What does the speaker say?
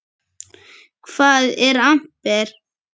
Hvað er amper?